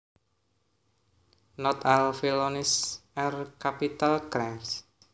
Not all felonies are capital crimes